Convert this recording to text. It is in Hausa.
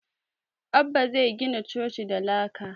Abbah zai gina coci da laka